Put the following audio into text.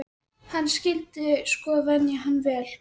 Hann skyldi sko venja hann vel.